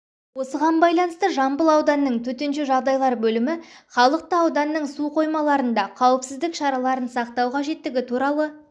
осыған байланысты жамбыл ауданының төтенше жағдайлар бөлімі халықты ауданның су қоймаларында қауіпсіздік шараларын сақтау қажеттігі туралы